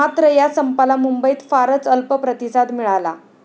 मात्र या संपाला मुंबईत फारच अल्प प्रतिसाद मिळाला.